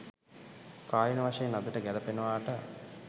කාලීන වශයෙන් අදට ගැළපෙනවාට